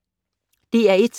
DR1